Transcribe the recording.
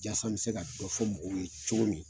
Yasa an bi se ka dɔ fɔ mɔgɔw ye cogo min.